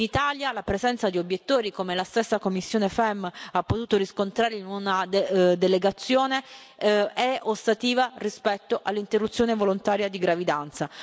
In Italia, la presenza di obiettori, come la stessa commissione FEMM ha potuto riscontrare in una delegazione, è ostativa rispetto all'interruzione volontaria di gravidanza.